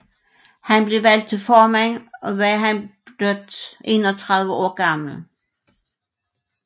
Da han blev valgt til formand var han blot 31 år gammel